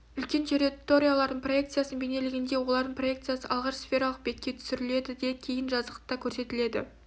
үлкен территориялардың проекциясын бейнелегенде олардың проекциясы алғаш сфералық бетке түсірледі де кейін жазықтықта көрсетіледі